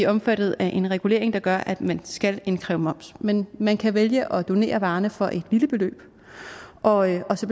omfattet af en regulering der gør at man skal indkræve moms men man kan vælge at donere varerne for et lille beløb og og så